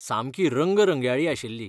सामकी रंगरंगयाळी आशिल्ली.